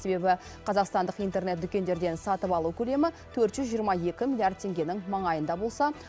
себебі қазақстандық интернет дүкендерден сатып алу көлемі төрт жүз жиырма екі миллиард теңгенің маңайында болса